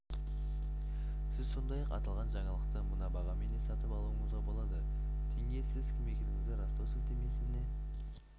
сіз сондай-ақ аталған жаңалықты мына бағамен де сатып алуыңызға болады тенге сіз кім екендігіңізді растау сілтемесіне